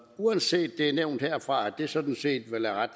uanset at det er nævnt herfra at det sådan set